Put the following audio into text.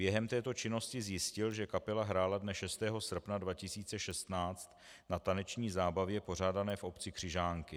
Během této činnosti zjistil, že kapela hrála dne 6. srpna 2016 na taneční zábavě pořádané v obci Křižánky.